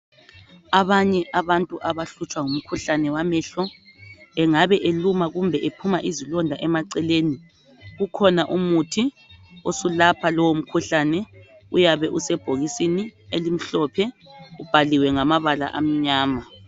abanye abantu abahlutshwa ngumkhuhlane wamehlo engabe eluma kumbe ephuma izilonda eceleni kukhona umuthi osulapha lowu mkhuhlane uyabe usebhokisini elimhlophe ubhaliwe ngamabala amnyama